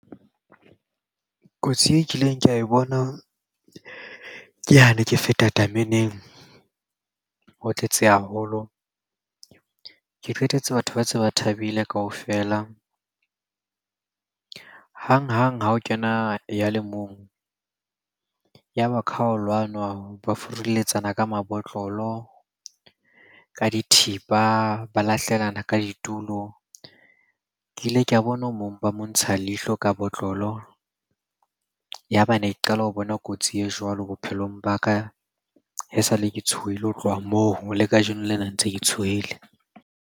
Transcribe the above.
Kotsi e kileng ka e bona ke ha ne ke feta tameneng ho tletse haholo. Ke qetetse batho ba tse ba thabile kaofela. Hang-hang ha o kena ya le mong, ya ba kha ho lwanwa. Ba furuletsana ka mabotlolo, ka dithipa, ba lahlelana ka ditulo. Ke ile ka bona o mong ba mo ntsha leihlo ka botlolo, ya ba ne ke qala ho bona kotsi e jwalo bophelong ba ka. Ha esale ke tshohile ho tloha moo le kajeno lena ntse ke tshohile.